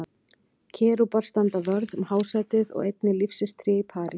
Kerúbar standa vörð um hásætið og einnig lífsins tré í Paradís.